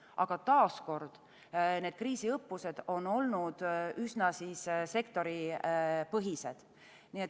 Aga taas kord, need kriisiõppused on olnud üsna sektoripõhised.